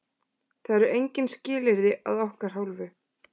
Það eru engin skilyrði að okkar hálfu.